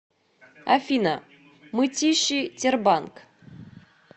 афина мытищи тербанк